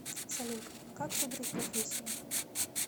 салют как выбрать профессию